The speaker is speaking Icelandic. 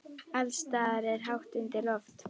Alls staðar er hátt undir loft.